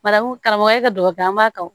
Marakun karamɔgɔya de don o an b'a kanu